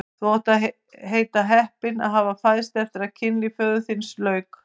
Þú mátt heita heppinn að hafa fæðst eftir að kynlífi föður þíns lauk!